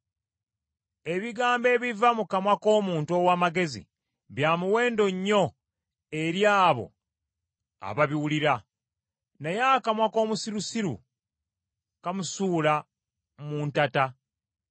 Ebigambo ebiva mu kamwa k’omuntu ow’amagezi bya muwendo nnyo eri abo ababiwulira, naye akamwa k’omusirusiru kamusuula mu ntata.